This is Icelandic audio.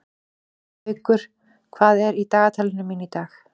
Haukur, hvað er í dagatalinu mínu í dag?